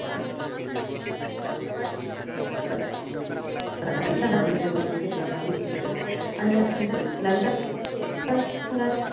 औरंगजेबाने ते प्रभावित केले आणि त्यानंतर